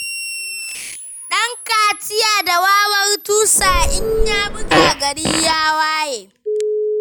Ɗan kaciya da wawar tusa, in ya buga gari ya waye.